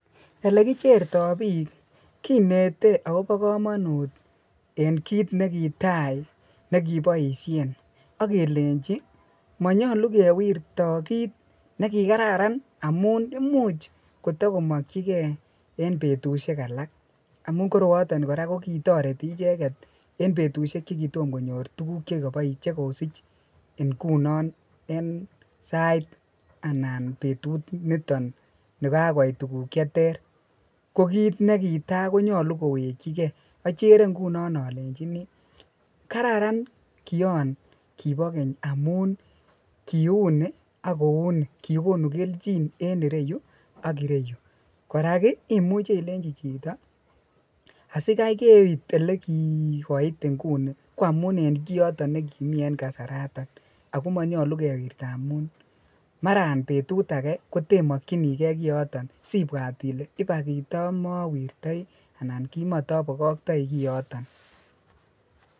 Elekicherto biik kinete akobo komonut en kiit nekitai nekiboishen ak kelenchi monyolu kewirto kiit nekikararan amun imuch kotokomokyike en betushek alak amun koroiton ko kitoreti icheket en betushek chekitom konyor tukuk chekosich ing'unon en sait anan betunoton nikakoit tukuk cheter, ko kiit nekitaa konyolu kowekyike, ochere ng'unon olenchini kararan kion Kibo keny amun kiuni ak kouni, kikonu kelchin en ireyu ak ireyu, korak imuche ilenchi chito asikai keit elekikoit ing'uni ko amuun en koiton nekimii en kasaraton ak ko monyolu kewirto amun Maran betut akee kotemokyinike kioton sibwat ilee ibak kitomowirtoi anan kimotobokoktoi kioton.